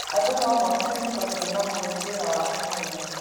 Andũ nomokire nitondũ nĩmamũĩ nĩ wĩra wake mwega.